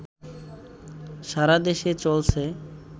সারাদেশে চলছে